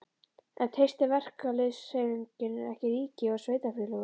En treystir verkalýðshreyfingin ekki ríki og sveitarfélögum?